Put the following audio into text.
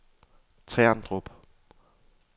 Terndrup